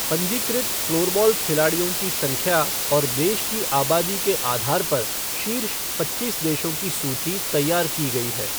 पंजीकृत फ़्लोरबॉल खिलाड़ियों की संख्या और देश की आबादी के आधार पर शीर्ष पच्चीस देशों की सूची तैयार की गई हैः